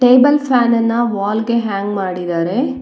Table fan ನನ್ನ wall ಗೆ hang ಮಾಡಿದರೆ.